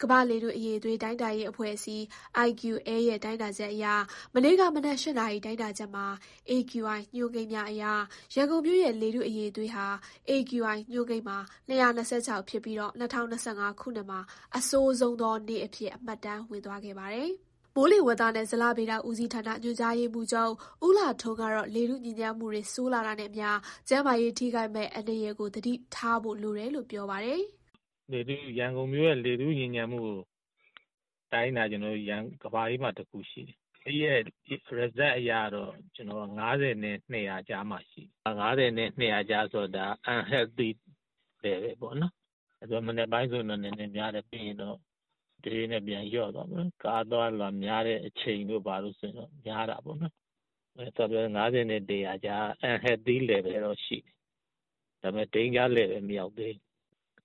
ကမ္ဘာ့လေထု အရည်အသွေးတိုင်းတာရေးအဖွဲ့အစည်း ရဲ့ မနေ့က မနက် ၈ နာရီမှာတိုင်းတာတဲ့ AQI ညွှန်းကိန်းအရ ရန်ကုန်မြို့ ရဲ့ လေထုအရည်အသွေးဟာ AQI ညွှန်းကိန်းမှာ ရှိနေပြီး ဒါဟာ ခုနှစ်နှစ်အစမှာပဲ အဆိုးဆုံးနေ့အဖြစ် မှတ်တမ်းဝင်သွားခဲ့ပါတယ်။ မိုးလေဝသနဲ့ဇလဗေဒဦးစီးဌာန ညွှန်ကြားရေးမှူးချုပ် ဦးလှထွန်းကတော့ လေထုညစ်ညမ်းမှု ဆိုးလာတာနဲ့အမျှ ကျန်းမာရေးထိခိုက်မယ့်အန္တရာယ်ကို သတိထားဖို့လိုတယ်လို့ ပြောပါတယ်။ “ရန်ကုန်လေထုညစ်ညမ်းမှုကိုတိုင်းတာက ကမ္ဘာအေးမှာတခုရှိတယ်။ ဒီတိုင်းတာချက်အရကတော့ ၅၀ နဲ့ ၂၀၀ ကြားရှိတယ်။ ၅၀ နဲ့ ၂၀၀ ကြားဆိုတော့ unhealthy level (ကျန်းမာရေးအတွက် မသင့်လျော်တဲ့ အဆင့်) ပေါ့။ မနက်ပိုင်းဆိုများတယ်။ ပြီးရင် တဖြည်းဖြည်းလျော့သွားတယ်။ ကားအသွားအလာ များတဲ့အချိန်ဆို များတယ်ပေါ့နော်။ ၅၀ နဲ့ ၂၀၀ ကြားဆိုတော့ unhealthy level ပေမယ့် danger level မရောက်သေး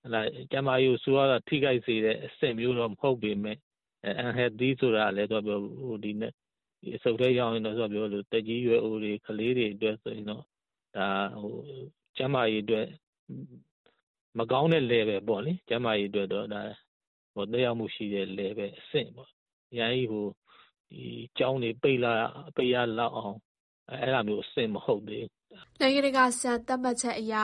ဘူး။ ကျန်းမာရေးကို ဆိုးဝါးစွာထိခိုက်စေတဲ့အဆင့်မျိုး မဟုတ်ပေမယ့် unhealthy level ဆိုတော့ အဆုတ်ထဲရောက်ရင် အသက်ကြီးရွယ်အိုတွေ၊ ကလေးတွေအတွက်တော့ ကျန်းမာရေးအတွက်မကောင်းတဲ့ Level ပေါ့နော်။ ကျန်းမာရေးကို သက်ရောက်နိုင်တဲ့ Level ဖြစ်နေတယ်။ ဒါပေမယ့်ကျောင်းတွေပိတ်ရလောက်တဲ့အဆင့်လောက်တော့ မဟုတ်သေးဘူး။” နိုင်ငံတကာ စံသတ်မှတ်ချက်အရ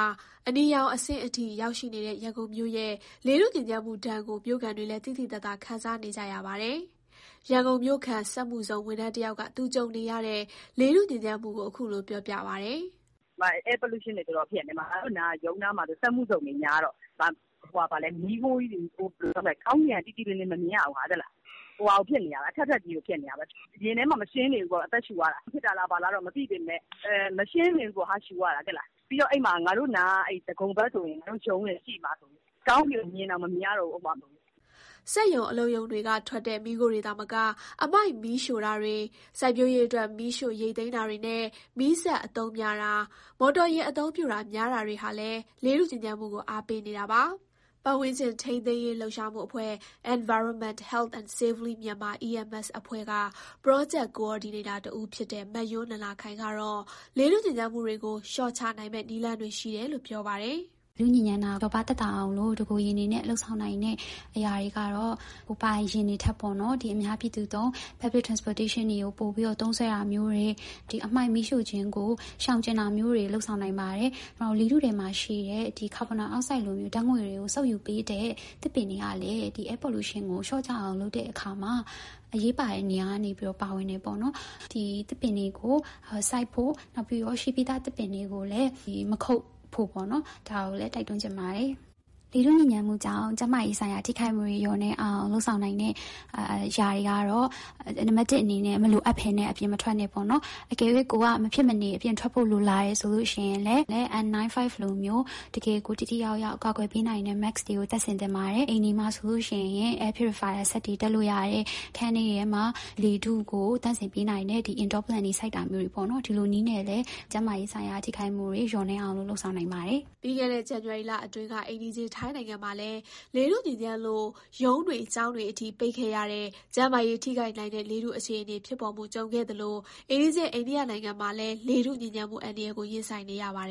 အနီရောင်အဆင့်အထိရောက်ရှိနေတဲ့ ရန်ကုန်မြို့ရဲ့ လေထုညစ်ညမ်းမှုဒဏ်ကို မြို့ခံတွေလည်း သိသိသာသာ ခံစားနေကြရပါတယ်။ ရန်ကုန်မြို့ခံ စက်မှုဇုံ ဝန်ထမ်းတယောက်က သူကြုံနေရတဲ့ လေထုညစ်ညမ်းမှုကို အခုလို ပြောပြပါတယ်။ "Air Pollution တွေ တော်တော်ဖြစ်နေတာ။ ရုံးနားမှာဆို စက်မှုဇုံတွေများတော့ မီးခိုးကြီးတွေနဲ့ ကောင်းကင်က ကြည်ကြည်လင်လင်မမြင်ရဘူး။ အထပ်ထပ်ကြီးတွေဖြစ်နေတယ်။ ရင်ထဲမှာမရှင်းနေဘူး။ အသက်ရှုရတာ။ အဲဒါကြောင့်ဖြစ်နေလဲ၊ ဘာလဲ မသိပေမယ့် မရှင်းနေဘူးပေါ့ အသက်ရှုရတာ။ ရုံးနားက ဒဂုံဘက်မှာဆိုကောင်းကင်ကိုမြင်တောင်မမြင်ရတော့ဘူး။" စက်ရုံ၊ အလုပ်ရုံတွေကထွက်တဲ့ မီးခိုးတွေသာမက အမှိုက်မီးရှို့တာတွေ၊ စိုက်ပျိုးရေးအတွက် မီးရှို့ ရိတ်သိမ်းတာတွေနဲ့ မီးစက်အသုံးများတာ၊ မော်တော်ယာဉ် အသုံးများတာတွေဟာလည်း လေထု ညစ်ညမ်းမှုကို အားပေးနေတာပါ။ ပတ်ဝန်းကျင် ထိန်းသိမ်းရေးလှုပ်ရှားမှုအဖွဲ့ Environment, Health and Safely Myanmar အဖွဲ့က Project Coordinator တဦးဖြစ်တဲ့ မယွန်းနန္ဒာခိုင် ကတော့ လေထုညစ်ညမ်းမှုတွေကို လျှော့ချနိုင်မယ့်နည်းလမ်းတွေ ရှိတယ်လို့ ပြောပါတယ်။ “လေထုညစ်ညမ်းတာကိုလျော့ပါးအောင်လို့ တကိုယ်ရည်လုပ်နိုင်တဲ့အရာတွေကတော့ ကိုယ်ပိုင် ယာဉ်တွေထက် Public Transportation တွေကို ပိုသုံးစွဲတာမျိုး၊ အမှိုက်မီးရှို့တာကို ရှောင်တာမျိုးတွေ လုပ်နိုင်တယ်။ နောက်လေထုထဲရှိတဲ့ ကာဗွန်ဒိုင်အောက်ဆိုဒ်ကိုစုပ်ယူပေးတဲ့သစ်ပင်တွေကလည်း ဒီလေထုညစ်ညမ်းမှုကို လျော့အောင်လုပ်တဲ့အခါမှာ အရေးပါတဲ့နေရာကနေပါဝင်တယ်။ ဒီတော့ သစ်ပင်တွေစိုက်ဖို့ရှိပြီးသားသစ်ပင်တွေကို မခုတ်ဖို့ တိုက်တွန်းချင်တယ်။ ကျန်းမာရေး ထိခိုက်တာ လျော့နည်းအောင် လုပ်ဖို့ဆိုရင် နံပါတ် ၁ ဆို မလိုအပ်ဘဲအပြင်မထွက်နဲ့ပေါ့နော်။ ထွက်ခဲ့ရင်လည်း N 95 လို တကယ်ကိုထိထိရောက်ရောက်ကာကွယ်နိုင်တဲ့ mask မျိုးတပ်သင့်တယ်။ အိမ်တွေမှာဆို air purifier စက်တွေတပ်တာ။ နောက်အခန်းထဲမှာ လေထုကိုသန့်စင်ပေးတဲ့ Indoor plant တွေစိုက်တာ မျိုး အဲလိုတွေနဲ့ကျန်းမာရေးဆိုင်ရာထိခိုက်မှုတွေကိုကာကွယ်နိုင်ပါတယ်။” ပြီးခဲ့တဲ့ ဇန်နဝါရီလအတွင်းက အိမ်နီးချင်းထိုင်းနိုင်ငံမှာလည်း လေထုညစ်ညမ်းလို့ ရုံးတွေ ကျောင်းတွေပိတ်ခဲ့ရတဲ့အထိ ကျန်းမာရေးထိခိုက်နိုင်တဲ့ လေထုညစ်ညမ်းခဲ့သလို အိမ်နီးချင်း အိန္ဒိယနိုင်ငံမှာလည်း လေထုညစ်ညမ်းမှုအန္တရာယ်ကို ရင်ဆိုင်နေရပါတယ်